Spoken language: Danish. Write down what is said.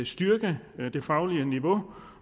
styrke det faglige niveau